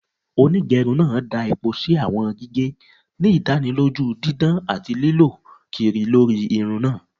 Onigerun naa da epo si awọn gige, ni idaniloju didan ati lilọ kiri lori irun naa.